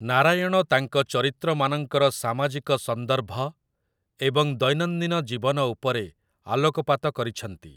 ନାରାୟଣ ତାଙ୍କ ଚରିତ୍ରମାନଙ୍କର ସାମାଜିକ ସନ୍ଦର୍ଭ ଏବଂ ଦୈନନ୍ଦିନ ଜୀବନ ଉପରେ ଆଲୋକପାତ କରିଛନ୍ତି ।